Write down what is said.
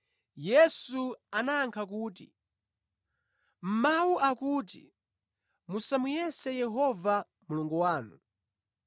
Yesu anayankha kuti, “Mawu akuti, ‘Musamuyese Yehova Mulungu wanu.’ ”